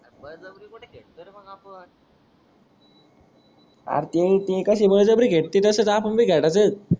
R तीन तीन कस बजब्री घेत ते तसच आपण भी खेडायचच.